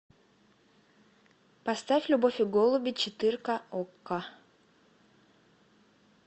поставь любовь и голуби четырка окко